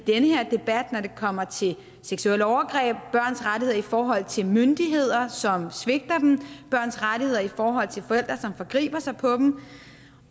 kommer til seksuelle overgreb børns rettigheder i forhold til myndigheder som svigter dem og børns rettigheder i forhold til forældre som forgriber sig på dem